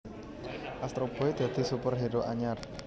Astro Boy dadi superhero anyar